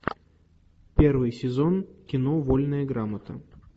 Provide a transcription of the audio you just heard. первый сезон кино вольная грамота